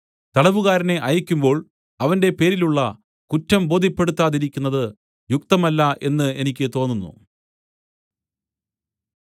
തടവുകാരനെ അയയ്ക്കുമ്പോൾ അവന്റെ പേരിലുള്ള കുറ്റം ബോദ്ധ്യപ്പെടുത്താതിരിക്കുന്നത് യുക്തമല്ല എന്ന് എനിക്ക് തോന്നുന്നു